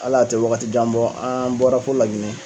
Hali a tɛ waagati jan bɔ, an bɔra fo Laginɛ.